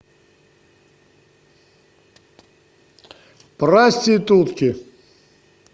проститутки